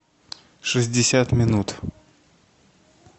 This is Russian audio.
шестьдесят минут